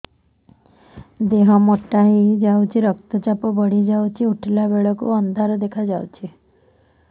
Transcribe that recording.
ଦେହ ମୋଟା ହେଇଯାଉଛି ରକ୍ତ ଚାପ ବଢ଼ି ଯାଉଛି ଉଠିଲା ବେଳକୁ ଅନ୍ଧାର ଦେଖା ଯାଉଛି